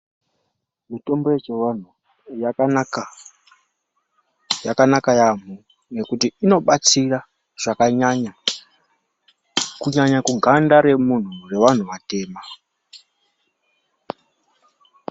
Mitombo yechivanhu yakanaka, yakanaka yaamho ngekuti inobatsira zvakanyanya, kunyanya kuganda revanhu vatema.